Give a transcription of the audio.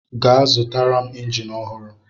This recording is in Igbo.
Gaa zụtara m injin ọhụrụ!